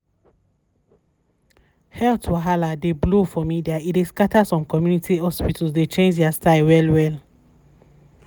health wahala dey blow for media e dey scatter some community hospitals dey change their style well well.